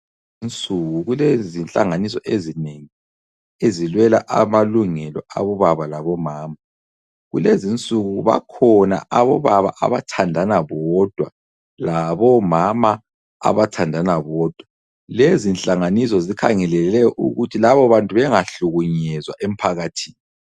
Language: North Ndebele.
Kulezinsuku kulenhlanganiso ezinengi ezilwela amalungelo abobaba labo mama kulezinsuku bakhona , abobaba abathandana bodwa labomama abathandana bodwa, lezi zinhlangansiso zikhangelele ukuthi laba bantu bengahlukunyezwa emphakathini.